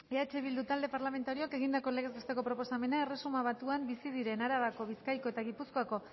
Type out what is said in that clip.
eh bildu talde parlamentarioak egindako legez besteko proposamena erresuma batuan bizi diren arabako bizkaiko eta gipuzkoako